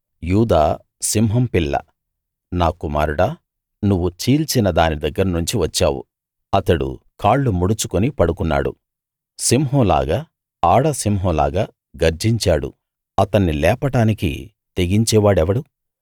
యూదా సింహం పిల్ల నా కుమారుడా నువ్వు చీల్చిన దాని దగ్గరనుంచి వచ్చావు అతడు కాళ్ళు ముడుచుకుని పడుకున్నాడు సింహం లాగా ఆడ సింహం లాగా గర్జించాడు అతన్ని లేపడానికి తెగించేవాడెవడు